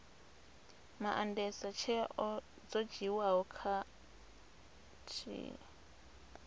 maandesa tsheo dzo dzhiiwaho khathihi